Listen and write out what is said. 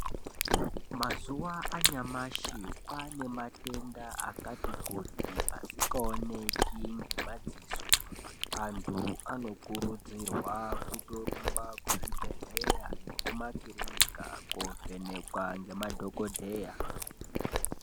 Mazuva anyamashi kwane matenda akati kuti asikaoneki ngemadziso. Antu anokurudzirwa kutorumba kuzvibhedhleya nekumakirinika kovhenekwa ngemadhogodheya.